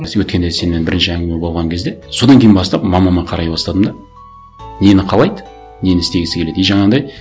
біз өткенде сенімен бірінші әңгіме болған кезде содан кейін бастап мамама қарай бастадым да нені қалайды нені істегісі келеді и жаңағындай